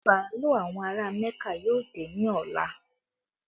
Bàálù àwọn ará Mẹ́kà yóò dé ní ọ̀la